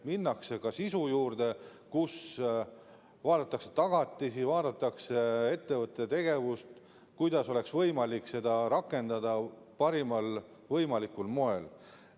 Minnakse ka sisu juurde, vaadatakse tagatisi, vaadatakse ettevõtte tegevust, kuidas oleks võimalik laenu rakendada parimal võimalikul moel.